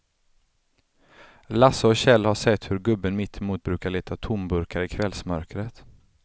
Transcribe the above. Lasse och Kjell har sett hur gubben mittemot brukar leta tomburkar i kvällsmörkret.